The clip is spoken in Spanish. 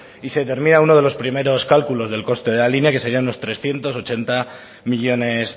y se termina uno de los primero cálculos del coste de la línea que serían trescientos ochenta millónes